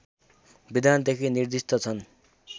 विधानदेखि निर्दिष्ट छन्